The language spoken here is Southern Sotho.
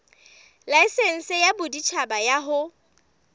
laesense ya boditjhaba ya ho